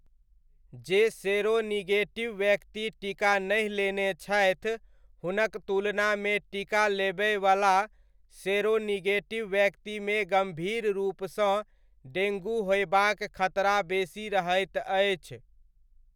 जे सेरोनिगेटिव व्यक्ति टीका नहि लेने छथि हुनक तुलनामे टीका लेबयवला सेरोनिगेटिव व्यक्तिमे गम्भीर रूपसँ डेङ्गू होयबाक खतरा बेसी रहैत अछि।